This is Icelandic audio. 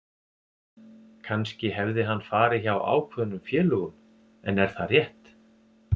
Kannski hefði hann farið hjá ákveðnum félögum en er það rétt?